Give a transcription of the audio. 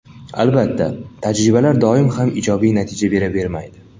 Albatta, tajribalar doim ham ijobiy natija beravermaydi.